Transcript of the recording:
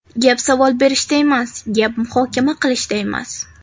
Gap savol berishda emas, gap muhokama qilishda emas.